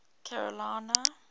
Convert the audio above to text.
carolina